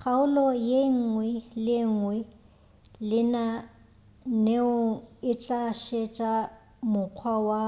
kgaolo yenngwe le yenngwe lenaneong e tla šetša mokgwa wa